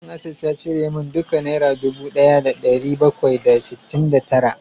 Bankin Access ya cire min duka naira dubu daya da dari bakwai da sittin da tara